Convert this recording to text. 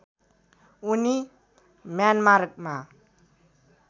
उनी म्यानमारमा